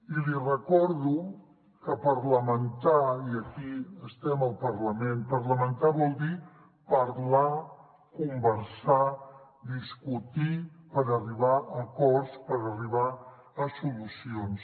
i li recordo que parlamentar i aquí estem al parlament parlamentar vol dir parlar conversar discutir per arribar a acords per arribar a solucions